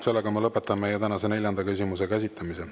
Sellega ma lõpetan meie tänase neljanda küsimuse käsitlemise.